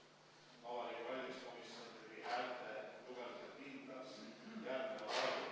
"Vabariigi Valimiskomisjon tegi häälte lugemisel kindlaks järgmised arvud.